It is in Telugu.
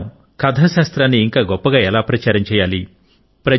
మనం కథాశాస్త్రాన్ని ఇంకా గొప్పగా ఎలా ప్రచారం చేయాలి